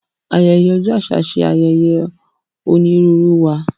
Ayẹyẹ ọjọ aṣa ṣe ayẹyẹ onírúurú wá.